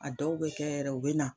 A dɔw be kɛ yɛrɛ u be na